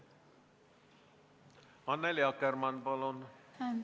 Annely Akkermann, palun!